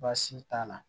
Baasi t'a la